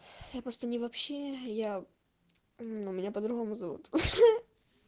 я просто не вообще я у меня по-другому зовут